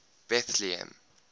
betlehem